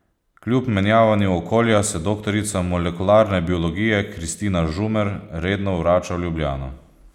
Kljub menjavanju okolja se doktorica molekularne biologije Kristina Žumer redno vrača v Ljubljano.